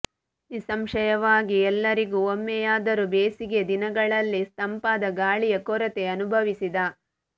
ನಿಸ್ಸಂಶಯವಾಗಿ ಎಲ್ಲರಿಗೂ ಒಮ್ಮೆಯಾದರೂ ಬೇಸಿಗೆಯ ದಿನಗಳಲ್ಲಿ ತಂಪಾದ ಗಾಳಿಯ ಕೊರತೆ ಅನುಭವಿಸಿದ